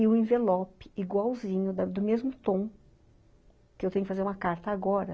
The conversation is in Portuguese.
e o envelope igualzinho, da do mesmo tom, que eu tenho que fazer uma carta agora.